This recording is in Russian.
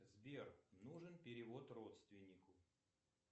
сбер нужен перевод родственнику